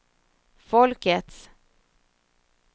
folkets